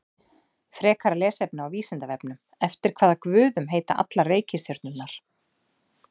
Frekara lesefni á Vísindavefnum: Eftir hvaða guðum heita allar reikistjörnurnar?